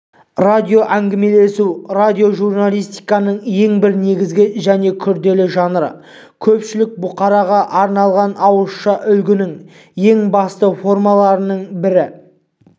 радиоәңгімелесу радиожурналистиканың ең бір негізгі және күрделі жанры көпшілік бұқараға арналған ауызша үгіттің ең басты формаларының бірі